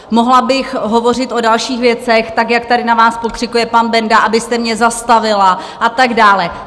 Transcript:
Mohla bych hovořit o dalších věcech tak, jak tady na vás pokřikuje pan Benda, abyste mě zastavila, a tak dále.